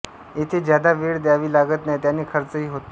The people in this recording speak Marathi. येथे जादा वेळ ध्यावी लागत नाही त्याने खर्च ही होत नाही